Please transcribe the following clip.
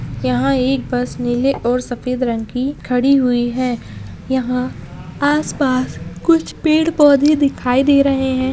यहाँ एक बस नीले और सफेद रंग की खड़ी हुई है यहाँ आस-पास कुछ पेड़-पौधे दिखाई दे रहे हैं।